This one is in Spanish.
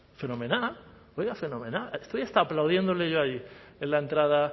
fenomenal oiga fenomenal estoy hasta aplaudiéndole yo ahí en la entrada